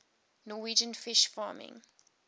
norwegian fish farming